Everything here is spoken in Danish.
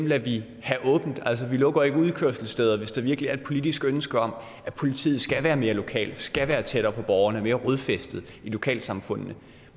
lader vi have åbent altså vi lukker ikke udkørselssteder hvis der virkelig er et politisk ønske om at politiet skal være mere lokalt skal være tættere på borgerne og mere rodfæstet i lokalsamfundene